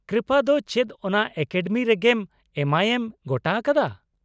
ᱠᱨᱤᱯᱟ ᱫᱚ ᱪᱮᱫ ᱚᱱᱟ ᱮᱠᱟᱰᱮᱢᱤ ᱨᱮᱜᱮᱢ ᱮᱢᱟᱭᱮᱢ, ᱜᱚᱴᱟ ᱟᱠᱟᱫᱟ ?